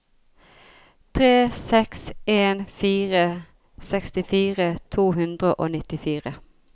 tre seks en fire sekstifire to hundre og nittifire